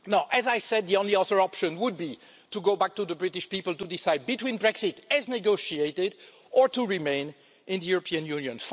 As I said, the only other option would be to go back to the British people to decide between Brexit, as negotiated, or to remain in the European Union.